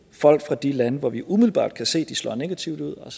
folk fra de lande hvor vi umiddelbart kan se at slår negativt ud og